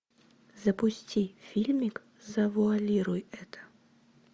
запусти фильмик завуалируй это